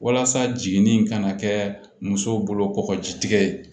Walasa jiginni ka na kɛ muso bolo kɔgɔji tigɛ